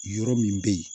Yɔrɔ min bɛ yen